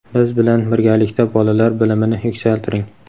biz bilan birgalikda bolalar bilimini yuksaltiring!.